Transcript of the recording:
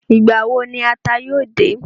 Ìgbà wo ni ata yóò dé?